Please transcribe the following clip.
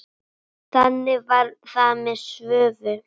Þannig var það með Svövu.